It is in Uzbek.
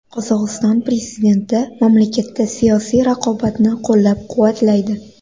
Qozog‘iston prezidenti mamlakatda siyosiy raqobatni qo‘llab-quvvatlaydi.